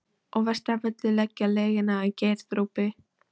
Og verst af öllu að leggja lygina á Geirþrúði.